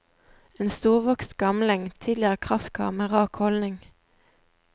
En storvokst gamling, tidligere kraftkar med rak holdning.